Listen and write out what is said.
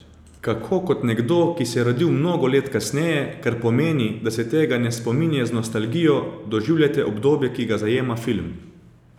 Kako kot nekdo, ki se je rodil mnogo let kasneje, kar pomeni, da se tega ne spominja z nostalgijo, doživljate obdobje, ki ga zajema film?